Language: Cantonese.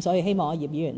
所以，希望葉議員